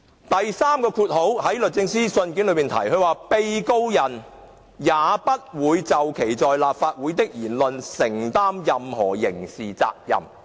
第三，律政司說"被告人也不會就其在立法會......的言論承擔任何刑事責任"。